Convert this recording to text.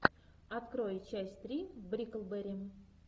открой часть три бриклберри